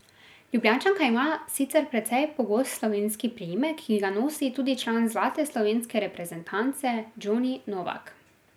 Ljubljančanka ima sicer precej pogost slovenski priimek, ki ga nosi tudi član zlate slovenske reprezentance Džoni Novak.